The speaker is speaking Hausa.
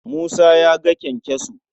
Musa ya ga kyankyaso.